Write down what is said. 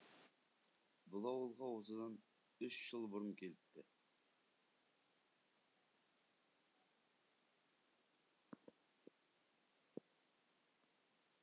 бұл ауылға осыдан үш жыл бұрын келіпті